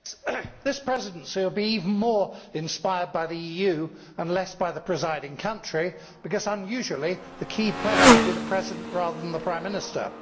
Mr President, this Presidency will be even more inspired by the EU and less by the presiding country because unusually the key player will be the President rather than the Prime Minister.